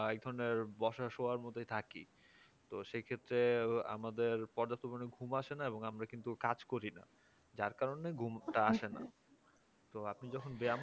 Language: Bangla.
একধরণের বসা শুয়ার মধ্যে থাকি তো সেই ক্ষেত্রে আমাদের পর্যাপ্ত পরিমাণে ঘুম আসেনা এবং আমরা কাজ করি যার কারণে ঘুমটা আসে না তো আপনি যখন